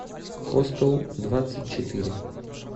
хостел двадцать четыре